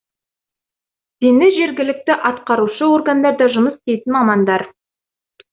дені жергілікті атқарушы органдарда жұмыс істейтін мамандар